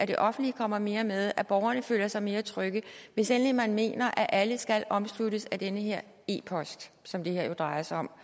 det offentlige kommer mere med til borgerne føler sig mere trygge hvis endelig man mener at alle skal omsluttes af den her e post som det her jo drejer sig om